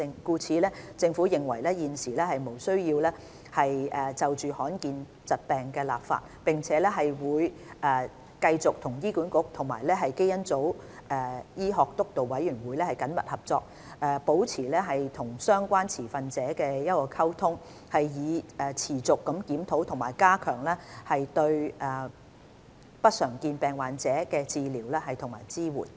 故此，政府認為現時無須就罕見疾病立法，並會繼續和醫管局及基因組醫學督導委員會緊密合作，保持與相關持份者的溝通，以持續檢討和加強對不常見疾病患者的治療和支援。